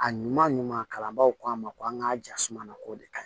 A ɲuman ɲuman kalanbaw k'a ma ko an ka jasuma k'o de kaɲi